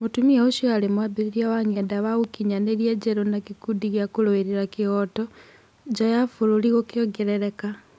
Mũtumia ũcio arĩ mwambĩrĩria wa ng'enda wa ũkinyanĩria njerũ na gĩkundi gĩa kũrũirĩra kĩhooto, nja ya bũrũri gũkĩongerereka.